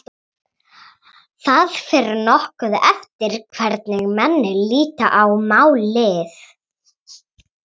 Það fer nokkuð eftir hvernig menn líta á málið.